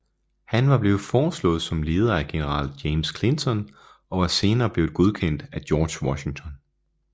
Han var blevet foreslået som leder af general James Clinton og var senere blevet godkendt af George Washington